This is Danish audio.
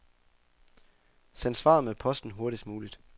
Send svaret med posten hurtigst muligt.